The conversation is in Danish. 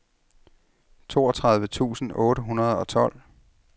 toogtredive tusind otte hundrede og tolv